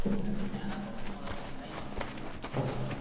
हरे याना भाऊ तुम्हाला कधी नाही म्हणलं मी का?